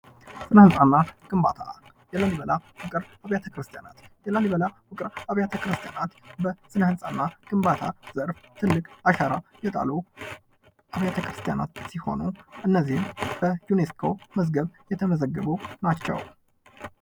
ስነ ህንጻ የስነህንጻ ግንባታ የላሊበላ ውቅር አብያተ ክርስትያን በስነ ህንጻ እና ግንባታ ዘርፍ ብዙ አስተውጾ ያደረጉ ትልቅ አሻራ የጣሉ ቤተክርስቲያናት ሲሆኑ እነዚም በ ዪኔስኮ መዝገብ የተመዘገቡ ናቸው።